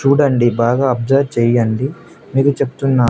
చూడండి బాగా అబ్జర్వ్ చేయండి మీకు చెప్తున్నా--